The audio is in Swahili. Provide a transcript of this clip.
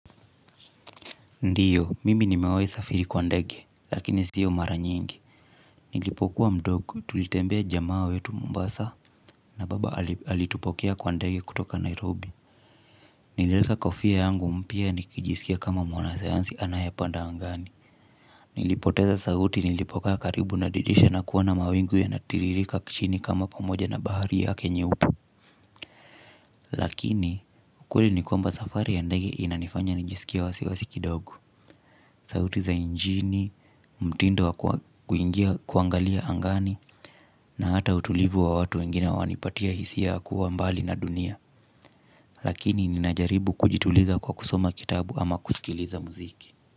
Ndiyo, mimi nimewahi safiri kwa ndege, lakini siyo mara nyingi. Nilipokuwa mdogo, tulitembea jamaa wetu Mombasa, na baba alitupokea kwa ndege kutoka Nairobi. Niliweka kofia yangu mpya nikijisikia kama mwanasayansi anayepanda angani. Nilipoteza sauti nilipokaa karibu na dirisha na kuona mawingu yanatiririka chini kama pamoja na bahari yake nyeupe. Lakini, ukweli ni kwamba safari ya ndege inanifanya nijisikie wasiwasi kidogo. Sauti za injini, mtindo wa kuangalia angani na hata utulivu wa watu wengine wanipatia hisia ya kuwa mbali na dunia. Lakini ninajaribu kujituliza kwa kusoma kitabu ama kusikiliza muziki.